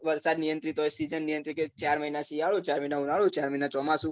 વરસાદ નિયંત્રિત હોય season નિયંત્રિત હોય કે ચાર મહિના શિયાળો ચાર મહિના ઉનાળો ચાર મહિના ચોમાસું